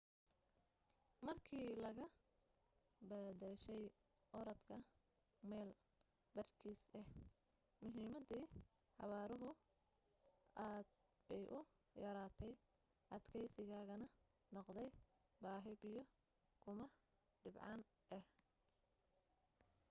markii laga bedeshay orodka mayl badhkiis ah muhiimadii xawaaruhu aad bay u yaraatay adkaysigaana noqday baahi biyo kuma dhibcaan ah